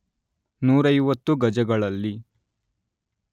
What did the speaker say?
ನೂರೈವತ್ತು ಗಜಗಳಲ್ಲಿ